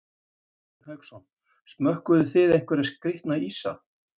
Hafsteinn Hauksson: Smökkuðuð þið einhverja skrítna ísa?